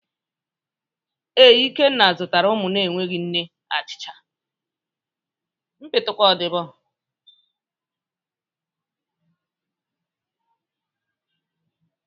Ee, Ikenna zụtara ụmụ na-enweghị nne achịcha